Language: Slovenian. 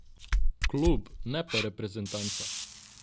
Klub, ne pa reprezentanca.